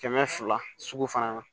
Kɛmɛ fila sugu fana na